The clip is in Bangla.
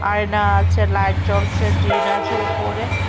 আয়না আছে লাইট জ্বলছে টিন আছে উপরে ।